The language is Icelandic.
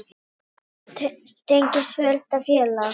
Halldór tengist fjölda félaga.